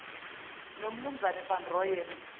nomnu van rooyen